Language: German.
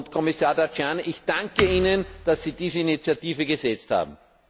Kommissar Tajani, ich danke Ihnen, dass Sie diese Initiative gesetzt haben!